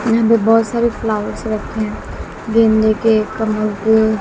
यहां पे बहोत सारे फ्लावर्स रखे हैं गेंदे के कमल के--